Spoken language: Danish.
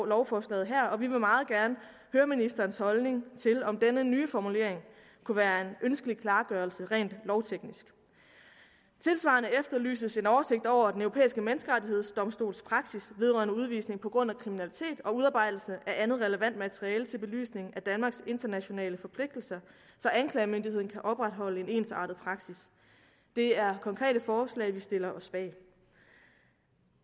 lovforslaget her og vi vil meget gerne høre ministerens holdning til om denne nye formulering kunne være en ønskelig klargørelse rent lovteknisk tilsvarende efterlyses en oversigt over den europæiske menneskerettighedsdomstols praksis vedrørende udvisning på grund af kriminalitet og udarbejdelsen af andet relevant materiale til belysning af danmarks internationale forpligtelser så anklagemyndigheden kan opretholde en ensartet praksis det er konkrete forslag vi stiller os bag